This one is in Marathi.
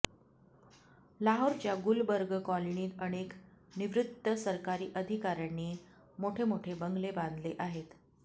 लाहोरच्या गुलबर्ग कॉलनीत अनेक निवृत्त सरकारी अधिकाऱयांनी मोठमोठे बंगले बांधले आहेत